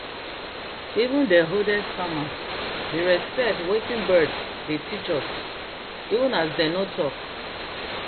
even dey oldest farmedey respect watin birds dey teach us even as dem no talk